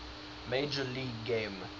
major league game